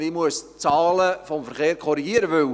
Ich muss die Verkehrszahlen korrigieren.